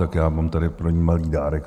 Tak já mám tady pro ni malý dárek.